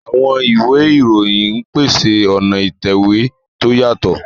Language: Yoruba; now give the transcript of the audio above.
Àwọn ìwé ìròyìn ń pèsè ọ̀nà ìtẹ̀wé tó yàtọ̀.